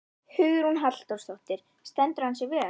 Hugrún Halldórsdóttir: Stendur hann sig vel?